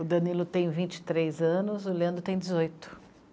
O Danilo tem vinte e três anos, o Leandro tem dezoito.